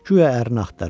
Güya ərini axtarır.